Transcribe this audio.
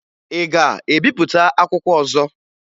Ị ga-ebipụta akwụkwọ ọzọ?